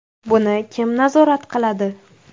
Buni kim nazorat qiladi?